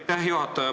Aitäh, juhataja!